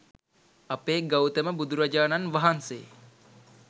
අපේ ගෞතම බුදුරජාණන් වහන්සේ